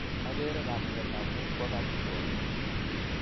Agere kamuget ap amut kwo kap kirwok.